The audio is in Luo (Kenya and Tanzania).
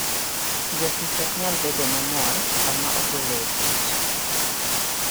Jatich ok nyal bedo mamor sama ogole e tich.